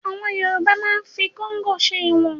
Àwọn Yorùbá máa ń fi kóngò ṣe ìwọ̀n